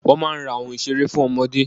Wọ́n máa ń ra oun ìseré fún ọmọdé.